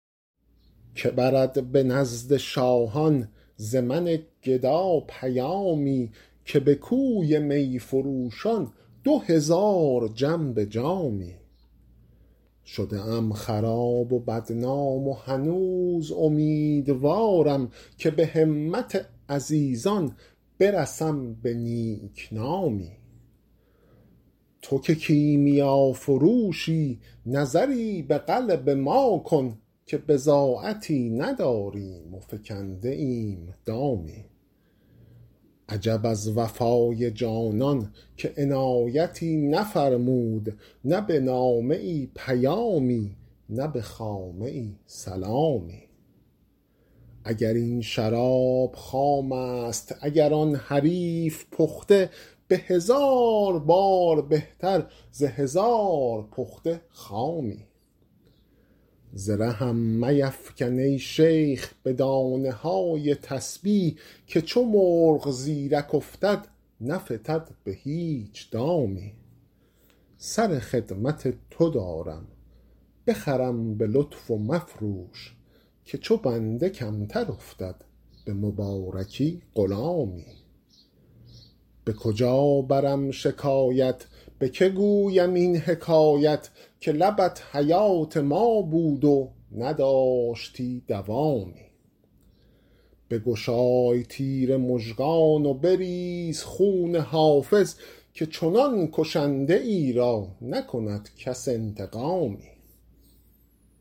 که برد به نزد شاهان ز من گدا پیامی که به کوی می فروشان دو هزار جم به جامی شده ام خراب و بدنام و هنوز امیدوارم که به همت عزیزان برسم به نیک نامی تو که کیمیافروشی نظری به قلب ما کن که بضاعتی نداریم و فکنده ایم دامی عجب از وفای جانان که عنایتی نفرمود نه به نامه ای پیامی نه به خامه ای سلامی اگر این شراب خام است اگر آن حریف پخته به هزار بار بهتر ز هزار پخته خامی ز رهم میفکن ای شیخ به دانه های تسبیح که چو مرغ زیرک افتد نفتد به هیچ دامی سر خدمت تو دارم بخرم به لطف و مفروش که چو بنده کمتر افتد به مبارکی غلامی به کجا برم شکایت به که گویم این حکایت که لبت حیات ما بود و نداشتی دوامی بگشای تیر مژگان و بریز خون حافظ که چنان کشنده ای را نکند کس انتقامی